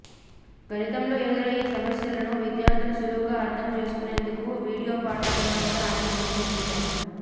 గణితంలో ఎదురయ్యే సమస్యలను విద్యార్థులు సులువుగా అర్థం చేసుకునేందుకు వీడియో పాఠాలను కూడా ఆయన రూపొందించారు